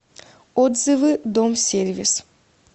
отзывы дом сервис